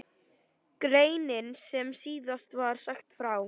Greinin sem síðast var sagt frá